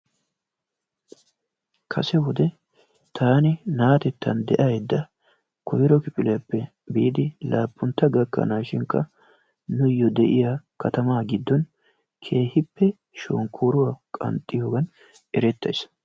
Kase wode taani na'atettan de'ayidda koyiro kifiliyappe biidi laappuntta gakkanaashinkka nuyyo de'iya katamaa giddon keehippe shonkkoruwa qanxxiyogen erettayis.